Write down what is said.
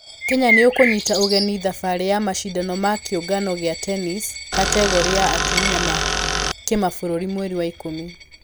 Kenya nĩũkũnyita ũgeni thabarĩ ya mashidano ma kĩũngano gĩa tennis kategore ya atũmia ma kĩmabũrũri mweri wa ikũmi.